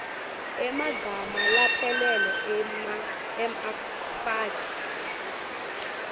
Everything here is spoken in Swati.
emagama laphelele emfaki